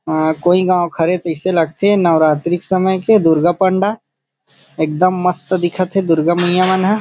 अ कोई गाँव खड़े तइसे लगथे नवरात्रि के समय के दुर्गा पंडाल एकदम मस्त दिखत हे दुर्गा मैयया मन ह।